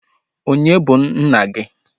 Onye bụ nna gi?